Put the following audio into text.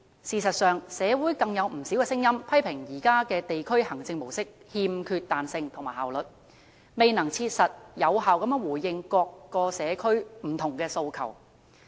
事實上，社會上有不少聲音批評現有地區行政模式欠缺彈性和效率，未能切實、有效回應各社區的不同訴求。